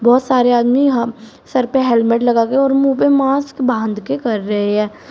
बहुत सारे आदमी यहां सर पे हेलमेट लगा के और मुंह पे मास्क बांध के कर रहे है।